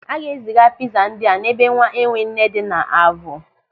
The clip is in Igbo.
A ga-eziga pịza ndị a n'ebe nwaenwenne dị n'Avụ.